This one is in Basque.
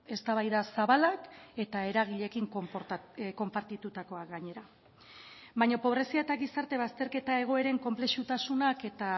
eztabaida zabalak eta eragileekin konpartitutakoak gainera baina pobrezia eta gizarte bazterketa egoeren konplexutasunak eta